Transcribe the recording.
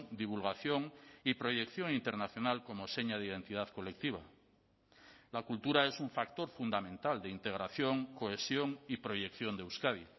divulgación y proyección internacional como seña de identidad colectiva la cultura es un factor fundamental de integración cohesión y proyección de euskadi